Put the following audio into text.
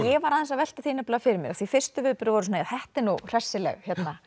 ég var aðeins að velta því fyrir mér því fyrstu viðbrögð voru þetta er nú hressileg